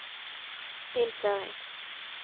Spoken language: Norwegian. innføring